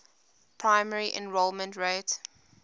primary enrollment rate